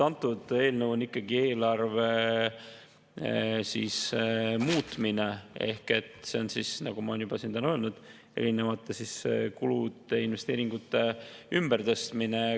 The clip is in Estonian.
Antud eelnõu on ikkagi eelarve muutmine ehk see on, nagu ma olen siin juba täna öelnud, erinevate kulude ja investeeringute ümbertõstmine.